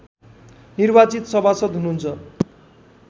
निर्वाचित सभासद हुनुहुन्छ